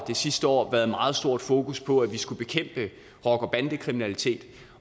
det sidste år været meget stort fokus på at vi skulle bekæmpe rocker bande kriminalitet